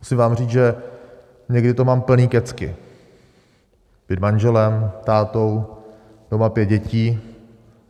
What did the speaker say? Musím vám říct, že někdy toho mám plné kecky - být manželem, tátou, doma pět dětí.